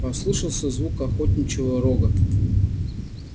послышался звук охотничьего рога